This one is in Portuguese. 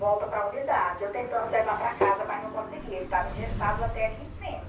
Volta para a unidade, eu tentando levar para casa, mas não conseguia, ele estava engessado até aqui em cima.